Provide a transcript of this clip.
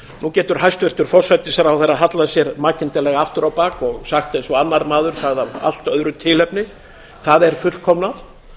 nú getur hæstvirtur forsætisráðherra hallað sér makindalega aftur á bak og sagt eins og annar maður sagði af allt öðru tilefni það er fullkomnað